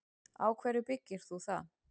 Á hverju byggir þú það?